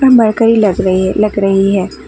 Mercury लग रही है लग रही है।